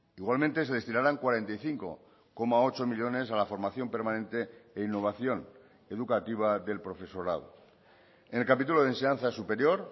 igualmente se destinarán cuarenta y cinco coma ocho millónes a la formación permanente e innovación educativa del profesorado en el capítulo de enseñanza superior